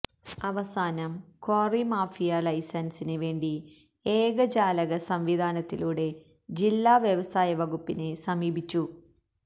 അവസാനം quarry mafia ലൈസന്സിന് വേണ്ടി ഏകജാലക സംവിധാനത്തിലൂടെ ജില്ലാ വ്യവസായ വകുപ്പിനെ സമീപിച്ചു